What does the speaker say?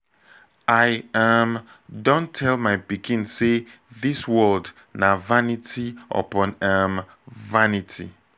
i um don tell my pikin say dis world na vanity upon um vanity